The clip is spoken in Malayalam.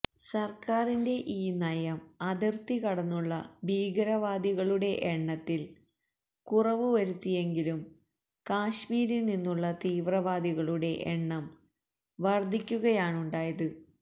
സർക്കാരിന്റെ ഈ നയം അതിർത്തി കടന്നുള്ള ഭീകരവാദികളുടെ എണ്ണത്തിൽ കുറവുവരുത്തിയെങ്കിലും കശ്മീരിൽനിന്നുള്ള തീവ്രവാദികളുടെ എണ്ണം വർധിക്കുകയാണുണ്ടായത്